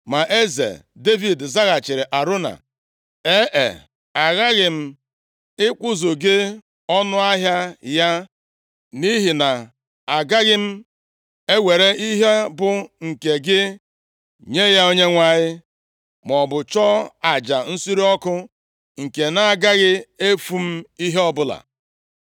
Ma eze Devid zaghachiri Arauna, “ee, aghaghị m ịkwụzu gị ọnụahịa ya. Nʼihi na agaghị m ewere ihe bụ nke gị nye ya Onyenwe anyị, maọbụ chụọ aja nsure ọkụ nke na-agaghị efu m ihe ọbụla.”